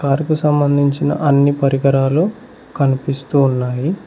అరకు సంబంధించిన అన్ని పరికరాలు కనిపిస్తూ ఉన్నాయి.